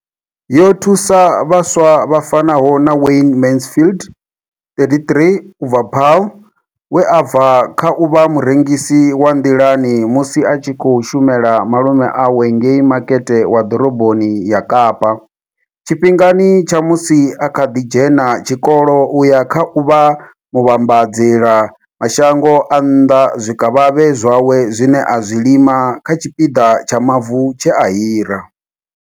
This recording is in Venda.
Yo thusa vhaswa vha fanaho na Wayne Mansfield, 33, u bva Paarl, we a bva kha u vha murengisi wa nḓilani musi a tshi khou shumela malume awe ngei Makete wa Ḓoroboni ya Kapa tshifhingani tsha musi a kha ḓi dzhena tshikolo u ya kha u vha muvhambadzela mashango a nnḓa zwikavhavhe zwawe zwine a zwi lima kha tshipiḓa tsha mavu tshe a hira.